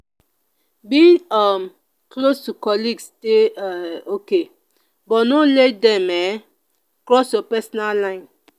being um close to colleagues dey um okay but no let dem um cross your personal line.